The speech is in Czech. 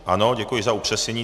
Ano, děkuji za upřesnění.